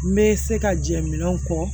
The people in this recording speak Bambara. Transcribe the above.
N bɛ se ka jɛ minɛnw kɔ